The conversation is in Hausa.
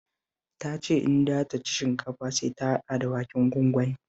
Ta ce in dai za ta ci shinkafa sai ta hada da waken gwangwani